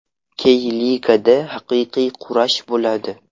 Key-ligada haqiqiy kurash bo‘ladi.